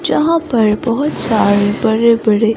जहां पर बहुत सारे बड़े-बड़े--